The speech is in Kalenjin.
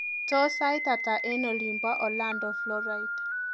Tos sait ata eng olibo Orlando Floride